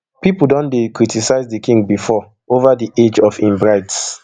pipo don dey criticise di king before over di age of im brides